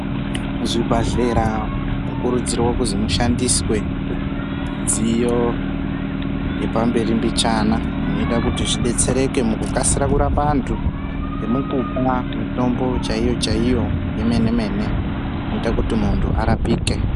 Muzvibhehlera munokurudzirwa kuzi mushandiswe midziyp yepamberi mbichana inoita kuti zvidetsere mukukasira kurapa antu nekupuwa mutombo chaiyo chaiyo yemene inoita kuti muntu arapike.